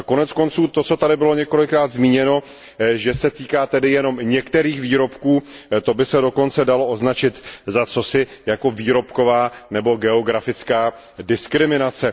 Koneckonců to, co tady bylo několikrát zmíněno, tedy že se návrh týká jenom některých výrobků, to by se dokonce dalo označit za cosi jako výrobková nebo geografická diskriminace.